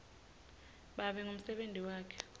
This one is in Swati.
babe ngumsebenti wakhe